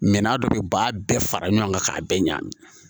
Mɛ n'a dɔ bɛ ba bɛɛ fara ɲɔgɔn kan k'a bɛɛ ɲagami